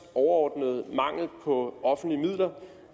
overordnede mangel på offentlige midler